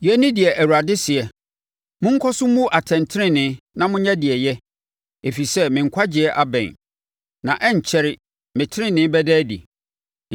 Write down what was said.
Yei ne deɛ Awurade seɛ: “Monkɔ so mmu atɛntenenee na monyɛ deɛ ɛyɛ, ɛfiri sɛ me nkwagyeɛ abɛn na ɛrenkyɛre me tenenee bɛda adi.